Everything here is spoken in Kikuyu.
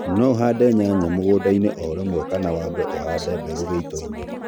no ũhande nyanya mũgũnda ĩnĩ o rĩmwe kana wambe ũhande mbegũ gĩĩto ĩnĩ